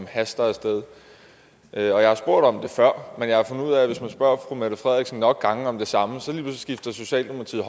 haster af sted jeg har spurgt om det før men jeg har fundet ud af at hvis man spørger fru mette frederiksen nok gange om det samme så skifter socialdemokratiet